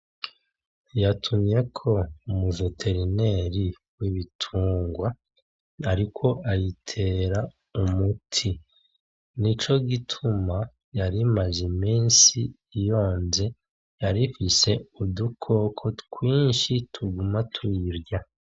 Yatumyeko umu "veterinaire" w'ibitungwa ariko ayitera umuti , nico gituma yari imaze iminsi yonze yarifise udukoko twinshi tuguma tuyiyirya.